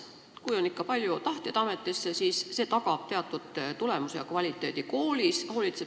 Kui on ikka palju tahtjaid, siis see tagab teatud tulemused ja kvaliteedi koolis.